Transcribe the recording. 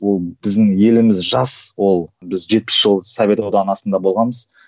ол біздің еліміз жас ол біз жетпіс жыл совет одағының астында болғанбыз